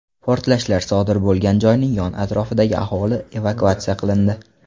Portlashlar sodir bo‘lgan joyning yon atrofidagi aholi evakuatsiya qilindi.